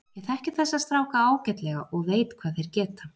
Ég þekki þessa stráka ágætlega og veit hvað þeir geta.